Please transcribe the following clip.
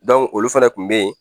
olu fana kun bɛ ye.